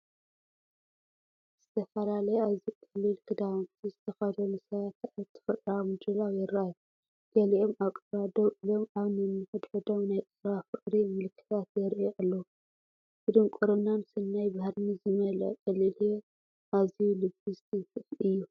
ዝተፈላለየ ኣዝዩ ቀሊል ክዳውንቲ ዝተኸድኑ ሰባት ኣብ ተፈጥሮኣዊ ምድላው ይረኣዩ። ገሊኦም ኣብ ቀረባ ደው ኢሎም፡ ኣብ ነንሕድሕዶም ናይ ቀረባ ፍቕሪ ምልክታት የርእዩ ኣለዉ፤ ብድንቁርናን ሰናይ ባህርን ዝመልአ ቀሊል ህይወት ኣዝዩ ልቢ ዝትንክፍ እዩ።